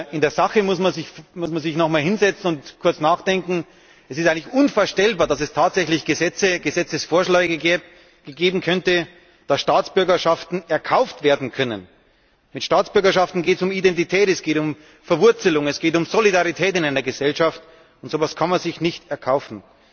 In der Sache muss man sich noch mal hinsetzen und kurz nachdenken Es ist eigentlich unvorstellbar, dass es tatsächlich Gesetzesvorschläge geben könnte, dass Staatsbürgerschaften erkauft werden können. Bei Staatsbürgerschaften geht es um Identität, es geht um Verwurzelung, es geht um Solidarität in einer Gesellschaft, und so etwas kann man sich nicht erkaufen.